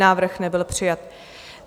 Návrh nebyl přijat.